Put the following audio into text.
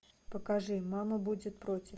покажи мама будет против